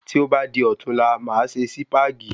Tí o bá di ọ̀tunla, máa ṣe Sípàgì